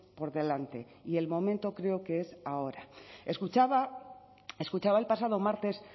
por delante y el momento creo que es ahora escuchaba escuchaba el pasado martes